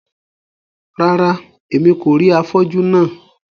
Rárá, Èmí kò rí afọju náà